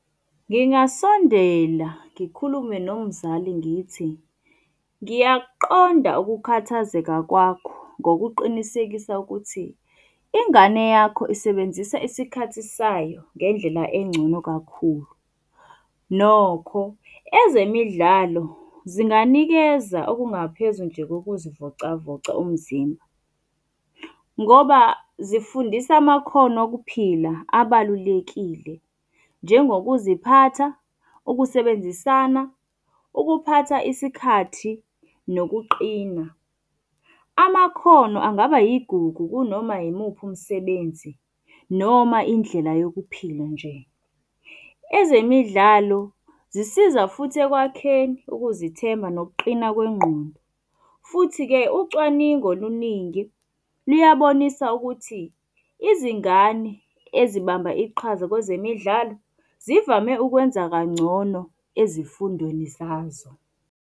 Ngingasondela ngikhulume nomzali ngithi, ngiyakuqonda ukukhathazeka kwakho ngokuqinisekisa ukuthi, ingane yakho isebenzisa isikhathi sayo ngendlela engcono kakhulu. Nokho ezemidlalo zinganikeza okungaphezu nje kokuzivocavoca umzimba. Ngoba zifundisa amakhono okuphila abalulekile, njengokuziphatha, ukusebenzisana, ukuphatha isikhathi nokuqina. Amakhono angaba yigugu kunoma yimuphi umsebenzi noma indlela yokuphila nje. Ezemidlalo zisiza futhi ekwakheni ukuzithemba nokuqina kwengqondo. Futhi-ke ucwaningo oluningi luyabonisa ukuthi izingane ezibamba iqhaza kwezemidlalo zivame ukwenza kangcono ezifundweni zazo.